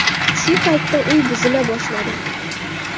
Shu paytda uy buzila boshladi.